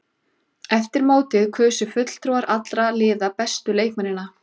Eftir mótið kusu fulltrúar allra liða bestu leikmennina.